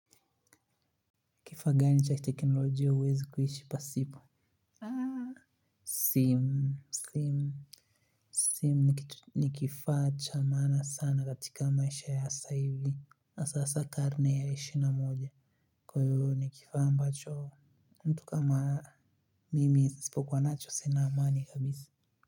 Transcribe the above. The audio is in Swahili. Kifaa gani cha teknolojia huwezi kuishi pasipo? Simu, simu, simu ni kifaa cha maana sana katika maisha ya sasa hivi, hasa karne ya ishirini na moja. Kwa hiyo ni kifaa ambacho mtu kama mimi nisipokuwa nacho sina amani kabisa.